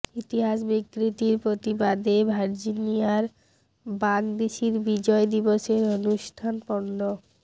ইতিহাস বিকৃতির প্রতিবাদে ভার্জিনিয়ায় বাগডিসির বিজয় দিবসের অনুষ্ঠান পন্ড